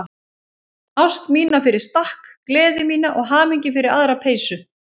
Ást mína fyrir stakk, gleði mína og hamingju fyrir aðra peysu.